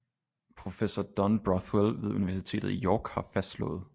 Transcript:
Professor don brothwell ved universitetet i york har fastslået